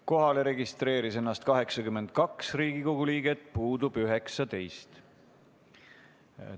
Kohale registreeris end 82 Riigikogu liiget, puudub 19.